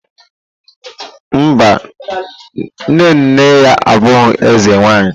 Mba, nne nne ya abụghị eze nwanyi.